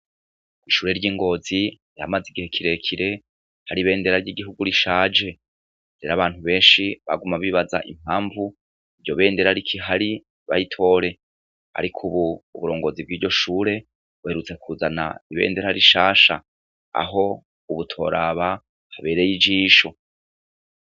Ishure ry'i Ngozi, ryamaze igihe kirekire, hari ibendera ry'igihugu rishaje. Rero abantu benshi, baguma bibaza impamvu iryo bendera rikihari ntibayitore. Ariko rero ubu, uburongozi bw'ishure buherutse kuzana ibendera rishasha, aho ubu utoraba, habereye ijisho.